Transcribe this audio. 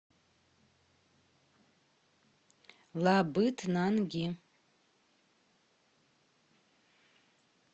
лабытнанги